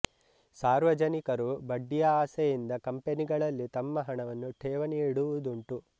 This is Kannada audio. ಸಾರ್ವಜನಿಕರು ಬಡ್ಡಿಯ ಆಸೆಯಿಂದ ಕಂಪನಿಗಳಲ್ಲಿ ತಮ್ಮ ಹಣವನ್ನು ಠೇವಣಿ ಇಡುವುದುಂಟು